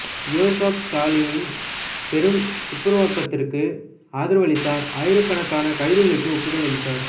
யோசப் ஸ்டாலினின் பெரும் துப்புரவாக்கத்திற்கு ஆதரவளித்தார் ஆயிரக்கணக்கான கைதுகளுக்கு ஒப்புதல் அளித்தார்